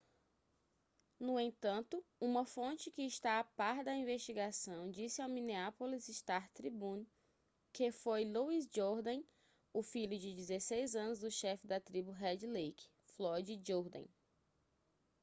no entanto uma fonte que está a par da investigação disse ao minneapolis star-tribune que foi louis jourdain o filho de 16 anos do chefe da tribo red lake floyd jourdain